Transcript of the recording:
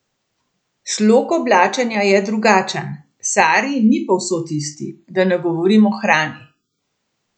Slog oblačenja je drugačen, sari ni povsod isti, da ne govorim o hrani!